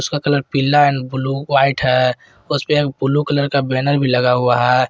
Colour पीला और blue white है उसपे ब्लू कलर का बैनर भी लगा हुआ है।